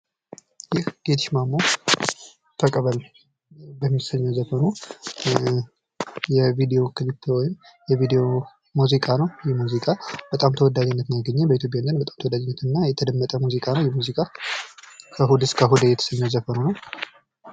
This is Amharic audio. ይህ ጌትሽ ማሞ ተቀበል በሚሰኘው ዘፈኑ የቪድዮ ሙዚቃ ነው ይህ ሙዚቃ በጣም ተወዳጅነትን ያገኘ በኢትዮጵያ ዘንድ በጣም ተወዳጅነትን እና የተደመጠ ሙዚቃ ነው ። ይህ ሙዚቃ ከእሁድ እስከ እሁድ የተሰኝው ዘፈኑ ነው ።